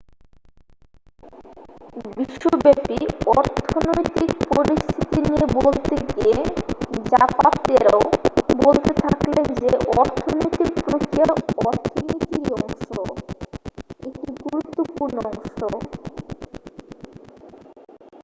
বিশ্বব্যপী অর্থনৈতিক পরিস্থিতি নিয়ে বলতে গিয়ে জাপাতেরো বলতে থাকলেন যে ''অর্থনৈতিক প্রক্রিয়া অর্থনীতিরই অংশ একটি গুরুত্বপূর্ণ অংশ।''